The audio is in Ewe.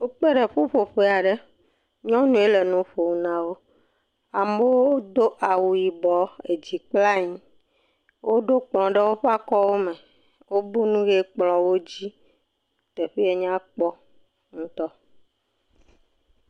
Wokpe ɖe ƒuƒoƒe aɖe, nyɔnue le nu ƒom na wo, amewo do awu yibɔ, edzi kple anyi, woɖo kplɔ ɖe woƒe akɔwo me, wobɔ nu ʋe kplɔwo dzi, teƒee nyakpɔ ŋutɔ.